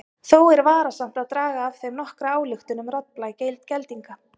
Þó er varasamt að draga af þeim nokkra ályktun um raddblæ geldinga.